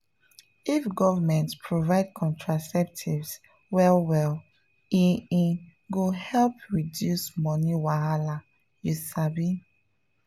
if government provide contraceptives well well e e go help reduce money wahala you sabi?